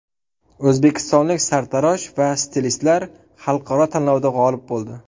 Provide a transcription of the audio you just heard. O‘zbekistonlik sartarosh va stilistlar xalqaro tanlovda g‘olib bo‘ldi .